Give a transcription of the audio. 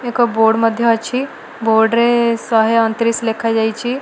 ଏକ ବୋର୍ଡ଼ ମଧ୍ୟ ଅଛି ବୋର୍ଡ଼ ରେ ସହେ ଅଣ ତିରିଶି ଲେଖା ଯାଇଛି।